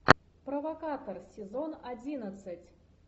провокатор сезон одиннадцать